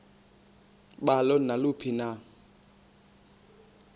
balo naluphi na